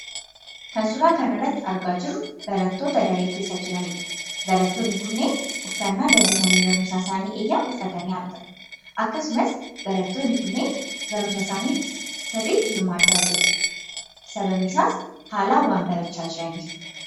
Kan suuraa kanarratti argaa jirru barattoota daree keessa jiranidha. Barattoonni kunniin, uffannaa danbii mana barumsaa isaani eeyyamu uffatanii argamu. Akkasumas barattoonni kunniin barnoota isaaniitti sirriitti hirmaachaa jiru . Sababnisaas haalaan waan barachaa jiraniif.